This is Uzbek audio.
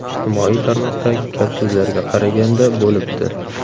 Ijtimoiy tarmoqdagi gap so‘zlarga qaraganda… bo‘libdi.